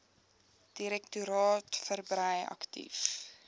direktoraat verbrei aktief